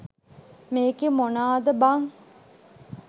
මේකෙ මොනාද බන්